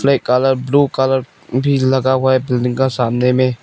एक colour blue colour भीड़ लगा हुआ है बिल्डिंग के सामने में--